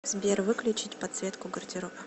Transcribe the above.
сбер выключить подсветку гардероб